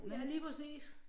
Ja lige præcis